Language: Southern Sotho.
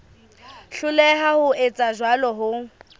hloleha ho etsa jwalo ho